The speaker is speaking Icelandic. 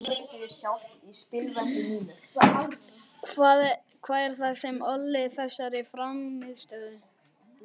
Hvað er það sem olli þessari frammistöðu?